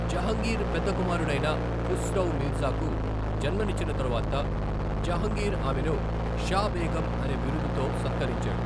జహంగీర్ పెద్ద కుమారుడైన ఖుస్రౌ మీర్జాకు జన్మనిచ్చిన తరువాత జహంగీర్ ఆమెను షా బేగం అనే బిరుదుతో సత్కరించాడు.